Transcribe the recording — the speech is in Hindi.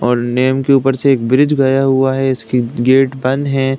और नेम के उपर से एक ब्रिज गया हुआ है इसकी गेट बंद हैं।